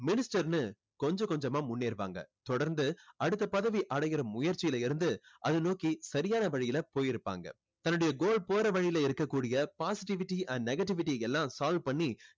minister ன்னு கொஞ்சம் கொஞ்சமா முன்னேறுவாங்க. தொடர்ந்து அடுத்த பதவி அடைகிற முயற்சியிலிருந்து அதை நோக்கி சரியான வழியில போயிருப்பாங்க. தன்னுடைய goal போற வழியில் இருக்கக்கூடிய positivity and negativity எல்லாம் solve பண்ணி